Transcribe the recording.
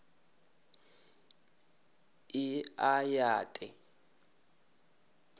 e a ya th e